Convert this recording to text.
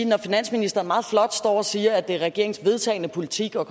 når finansministeren meget flot står og siger at det er regeringens vedtagne politik og